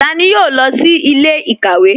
Tani yóò lọ sí ilẹ̀-ikawe?